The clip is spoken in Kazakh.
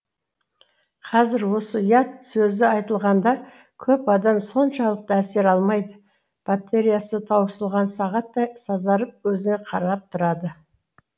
қазір осы ұят сөзі айтылғанда көп адам соншалықты әсер алмайды батереясы таусылған сағаттай сазарып өзіңе қарап тұрады